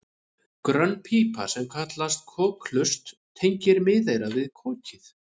Grönn pípa sem kallast kokhlust tengir miðeyrað við kokið.